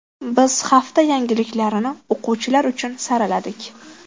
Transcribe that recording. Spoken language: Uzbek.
Biz hafta yangiliklarini o‘quvchilar uchun saraladik.